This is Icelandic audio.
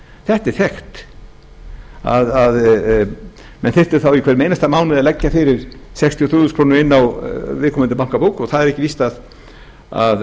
þetta er þekkt menn þyrftu þá í hverjum einasta mánuði að leggja fyrir sextíu og þrjú þúsund krónur inn á viðkomandi bankabók og það er